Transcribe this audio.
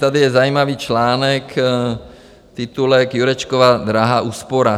Tady je zajímavý článek - titulek: "Jurečkova drahá úspora.